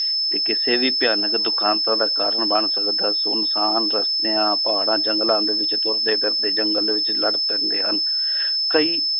ਤੇ ਕਿਸੇ ਵੀ ਭਿਆਨਕ ਦੁਖਾਂਤਾਂ ਦਾ ਕਾਰਨ ਬਣ ਸਕਦਾ ਸੁੰਨਸਾਨ ਰਸਤਿਆਂ ਪਹਾੜਾਂ ਜੰਗਲਾਂ ਦੇ ਵਿੱਚ ਤੁਰਦੇ ਫਿਰਦੇ ਜੰਗਲ ਵਿੱਚ ਲੜ ਪੈਂਦੇ ਹਨ ਕਈ